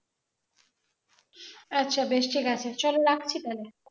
আচ্ছা বেশ ঠিক আছে চলো রাখছি তাহলে